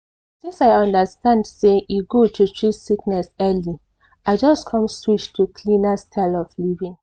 since i understand say e good to treat sickness early i just come switch to cleaner style of living.